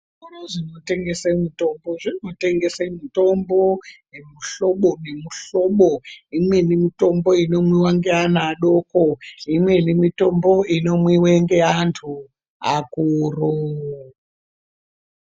Zvitoro zvinotengese mitombo zvinotengese mitombo yemuhlobo nemuhlobo, imweni mutombo inomwiwa ngeana adoko, imweni mitombo inomwiwe ngeantu akuru.